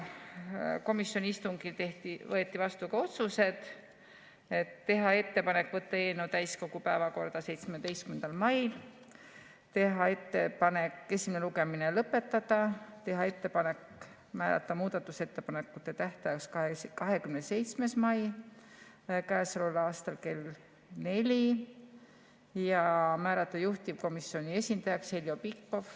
Komisjoni istungil võeti vastu ka otsused: teha ettepanek võtta eelnõu täiskogu päevakorda 17. mail, teha ettepanek esimene lugemine lõpetada, teha ettepanek määrata muudatusettepanekute tähtajaks 27. mai käesoleval aastal kell neli ja määrata juhtivkomisjoni esindajaks Heljo Pikhof.